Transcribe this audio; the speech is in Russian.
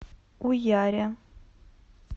уяре